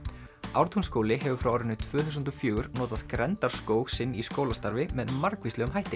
Ártúnsskóli hefur frá árinu tvö þúsund og fjögur notað sinn í skólastarfi með margvíslegum hætti